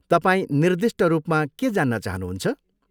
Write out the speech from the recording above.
तपाईँ निर्दिष्ट रूपमा के जान्न चाहनुहुन्छ?